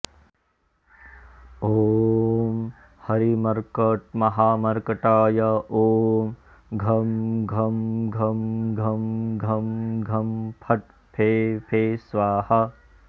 ॐ हरिमर्कटमहामर्कटाय ॐ घं घं घं घं घं घं फट् फे फे स्वाहा